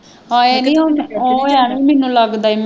ਹਾਏ ਨੀਂ ਹੁਣ ਉਹ ਐਵੇਂ ਮੈਨੂੰ ਲੱਗਦਾ